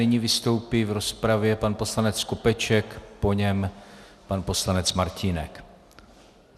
Nyní vystoupí v rozpravě pan poslanec Skopeček, po něm pan poslanec Martínek.